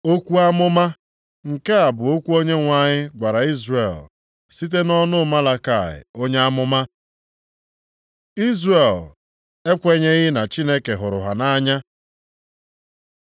Okwu amụma: Nke a bụ okwu Onyenwe anyị gwara Izrel site nʼọnụ Malakaị onye amụma. Izrel ekwenyeghị na Chineke hụrụ ha nʼanya